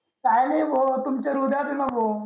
काय नाही भो तुमच्या हृदयात ये ना भो